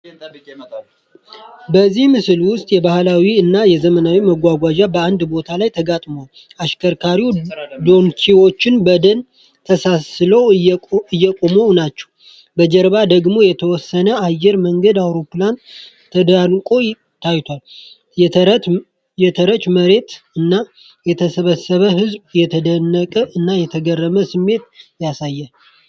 በዚህ ምስል ውስጥ የባህላዊ እና የዘመናዊ መጓጓዣ በአንድ ቦታ ተጋጥሟል። አሽከርካሪ ዶንኪዎች በደን ተሰንሰለው እየቆመው ናቸው፣ በጀርባ ደግሞ የተወሰነ የአየር መንገድ አውሮፕላን ተደርቆ ታይቷል። የተረቸ መሬት እና የተሰበሰበ ህዝብ የተደነቀ እና የተገረመ ስሜት ያሳያል።